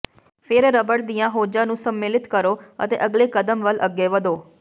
ਫੇਰ ਰਬੜ ਦੀਆਂ ਹੋਜ਼ਾਂ ਨੂੰ ਸੰਮਿਲਿਤ ਕਰੋ ਅਤੇ ਅਗਲੇ ਕਦਮ ਵੱਲ ਅੱਗੇ ਵਧੋ